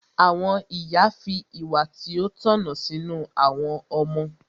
Àwọn ìyá fi ìwà tí ó tọ̀nà sínú àwọn ọmọ.